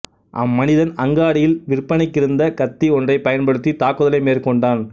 அம்மனிதன் அங்காடியில் விற்பனைக்கிருந்த கத்தி ஒன்றைப் பயன்படுத்தி தாக்குதலை மேற்கொண்டான்